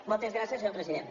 moltes gràcies senyor president